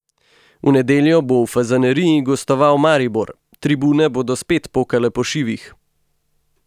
V nedeljo bo v Fazaneriji gostoval Maribor, tribune bodo spet pokale po šivih.